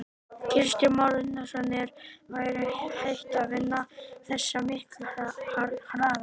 Kristján Már Unnarsson: En væri hægt að vinna þetta miklu hraðar?